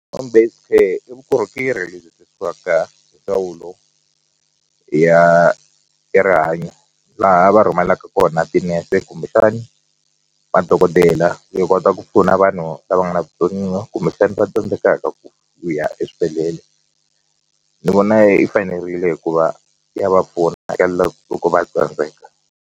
Home based care i vukorhokeri lebyi hi ndzawulo ya ya rihanyo laha va rhumelaka kona tinese kumbexani vadokodela yi kota ku pfuna vanhu lava nga na vutsoniwa kumbexani va tsandzekaka ku vuya eswibedhlele ni vona yi fanerile hikuva ya va pfuna loko va tsandzeka.